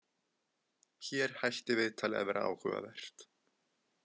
Hér hætti viðtalið að vera áhugavert.